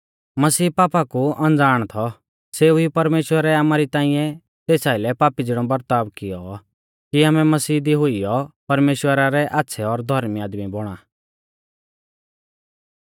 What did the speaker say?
मसीह पापा कु अणज़ाण थौ सेऊ ई परमेश्‍वरै आमारी ताइंऐ तेस आइलै पापी ज़िणौ बरताव कियौ कि आमै मसीह दी हुइयौ परमेश्‍वरा रै आच़्छ़ै और धौर्मी आदमी बौणा